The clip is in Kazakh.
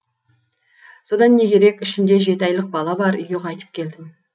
содан не керек ішімде жеті айлық бала бар үйге қайтып келдім